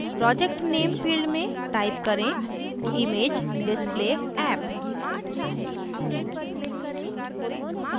project name field में type करें imagedisplayapp